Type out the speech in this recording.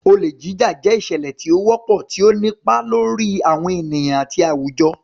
Olè Jíjà jẹ́ ìṣẹ̀lẹ̀ tí ó wọ́pọ̀, tí ó ń nípa lórí àwọn ènìyàn àti àwùjọ.